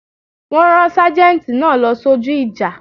Wọ́n rán sâjéntì náà lọ sójú ìjà